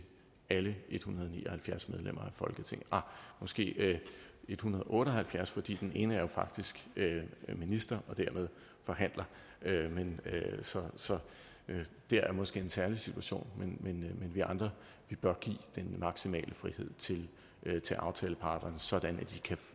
alle en hundrede og ni og halvfjerds medlemmer af folketinget ah måske en hundrede og otte og halvfjerds fordi den ene jo faktisk er minister og dermed forhandler så det er måske en særlig situation men vi andre bør give den maksimale frihed til aftaleparterne sådan at de kan